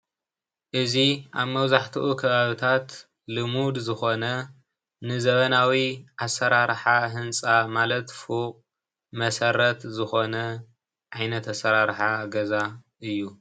እዚ ኣብ መብዛሕትኡ ካባብታት ልሙድ ዝኾነ ንዘበናዊ ኣሰራርሓ ህንፃ ማለት ፉቕ መሰረት ዝኾነ ዓይነት ኣሰራርሓ ገዛ እዩ።